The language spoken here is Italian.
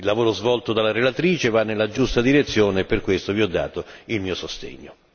Il lavoro svolto dalla relatrice va nella giusta direzione e per questo vi ho dato il mio sostegno.